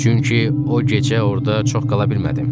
Çünki o gecə orda çox qala bilmədim.